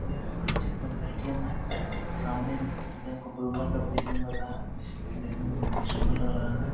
यह एक Axis bank का ए.टी.एम. है | सामने बैंक ऑफ़ बरोदा का ए.टी.एम. लग रहा है | देखने मे बहुत ही सुंदर लग रहा है |